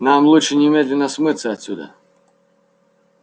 нам лучше немедленно смыться отсюда